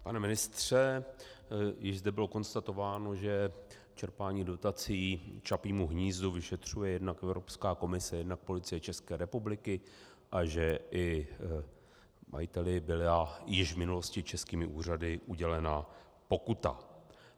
Pane ministře, již zde bylo konstatováno, že čerpání dotací Čapímu hnízdu vyšetřuje jednak Evropská komise, jednak Policie České republiky, a že i majiteli byla již v minulosti českými úřady udělena pokuta.